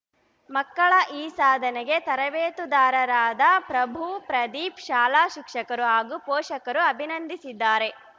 ಮಕ್ಕಳ ಈ ಸಾಧನೆಗೆ ತರಬೇತುದಾರಾದ ಪ್ರಭು ಪ್ರದೀಪ್‌ ಶಾಲಾ ಶಿಕ್ಷಕರು ಹಾಗೂ ಪೋಷಕರು ಅಭಿನಂದಿಸಿದ್ದಾರೆ